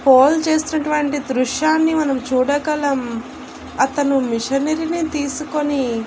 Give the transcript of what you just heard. hold చేస్తున్నటువంటి దృశ్యాన్ని మనం చూడగలం అతను మిషనరీ ని తీసుకొని --